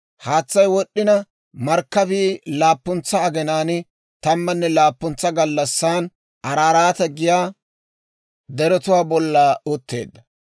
Haatsay wod'd'ina markkabii laappuntsa aginaan, tammanne laappuntsa gallassan Araaraate giyaa deretuwaa bolla utteedda.